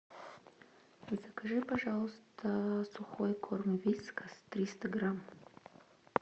закажи пожалуйста сухой корм вискас триста грамм